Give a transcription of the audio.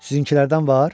Sizinkilərdən var?